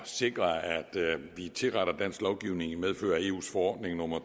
sikre at vi tilretter dansk lovgivning i medfør af eus forordning nummer